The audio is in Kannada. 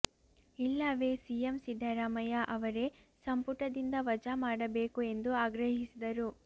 ಇಲ್ಲವೇ ಸಿಎಂ ಸಿದ್ದರಾಮಯ್ಯ ಅವರೇ ಸಂಪುಟದಿಂದ ವಜಾ ಮಾಡಬೇಕು ಎಂದು ಆಗ್ರಹಿಸಿದರು